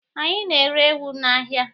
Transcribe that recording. Anyị na-ere ewu n'ahịa.